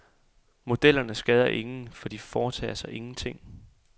Modellerne skader ingen, for de foretager sig ingenting.